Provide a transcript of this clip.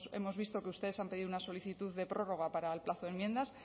hemos visto que ustedes han pedido una solicitud de prórroga para el plazo de enmiendas